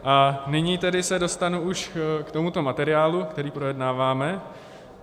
A nyní tedy se dostanu už k tomuto materiálu, který projednáváme.